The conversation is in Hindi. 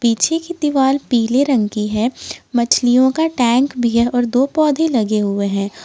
पीछे की दीवाल पीले रंग की है मछलियों का टैंक भी है और दो पौधे लगे हुए हैं।